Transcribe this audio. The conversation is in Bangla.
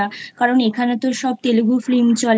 কারণ এখানে তো সব Telugu Filmচলে।